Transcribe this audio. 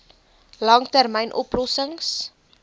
lang termyn oplossings